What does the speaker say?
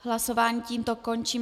Hlasování tímto končím.